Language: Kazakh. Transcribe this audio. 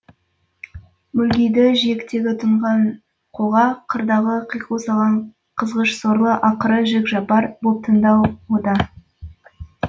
мүлгиді жиектегі тұнған қоға қырдағы қиқу салған қызғыш сорлы ақыры жік жапар боп тынды ау о да